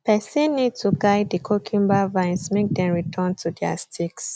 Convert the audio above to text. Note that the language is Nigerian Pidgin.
person need to guide the cucumber vines make dem return to their sticks